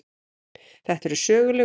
Þetta eru söguleg úrslit.